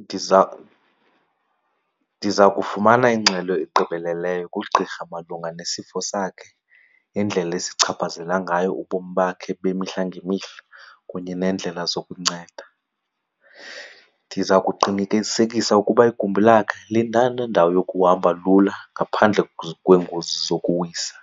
Ndiza ndiza kufumana ingxelo egqibeleleyo kugqirha malunga nesifo sakhe, indlela esichaphazela ngayo ubomi bakhe bemihla ngemihla kunye neendlela zokunceda. Ndiza kuqinikisekisa ukuba igumbi lakhe linganendawo yokuhamba lula ngaphandle kweengozi zokuwisa.